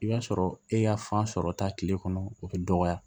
I b'a sɔrɔ e y'a fan sɔrɔ ta kile kɔnɔ o be dɔgɔya